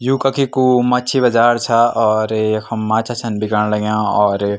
यु कखी कु मछी बजार छ और यखम माछा छन बिकण लग्याँ और --